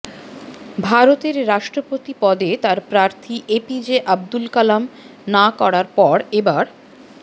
ভারতের রাষ্ট্রপতি পদে তার প্রার্থী এপিজে আবদুল কালাম না করার পর এবার